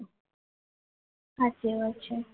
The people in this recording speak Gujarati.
સાચી વાત છે